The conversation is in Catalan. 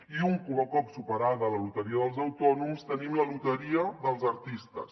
i un cop superada la loteria dels autònoms tenim la loteria dels artistes